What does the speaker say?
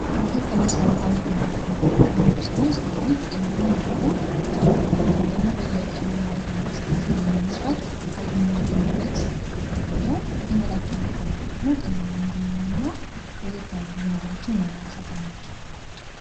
ምግብ ከመሰረታዊ ፍላጎትቶች መካከል አንዱ ሲሆን ሰዉ ጤናማ እንዲሆን ወይም በየቀኑ የሚያደርገዉን እንቅስቃሴ ለመስራት ኃይል እንዲያገኝበት ለመስራት የተመጣጠነ ከሆነ ደግሞ ጤናማ እና ለየት ያሉ ነገሮችን ይሰጠናል።